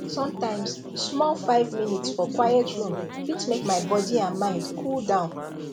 sometimes small five minutes for quiet room fit make my body and mind cool down